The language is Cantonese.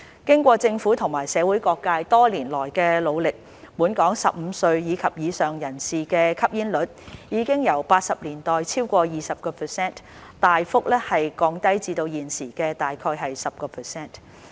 經過政府和社會各界多年來的努力，本港15歲及以上人士的吸煙率已由1980年代超過 20%， 大幅降低至現時約 10%。